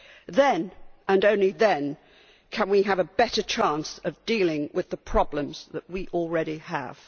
Then, and only then, can we have a better chance of dealing with the problems that we already have.